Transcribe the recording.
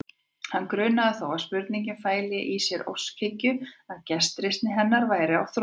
Hann grunaði þó að spurningin fæli í sér óskhyggju, að gestrisni hennar væri á þrotum.